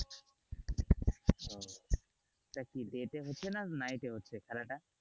এটা কি day তে হচ্ছে না night এ হচ্ছে খেলাটা।